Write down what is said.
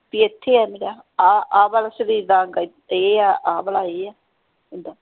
ਵੀ ਐਥੇ ਆ ਮੇਰਾ ਆਹ ਵਾਲਾ ਸ਼ਰੀਰ ਦਾ ਅੰਗ ਇਹ ਆ ਆਹ ਵਾਲਾ ਇਹ ਆ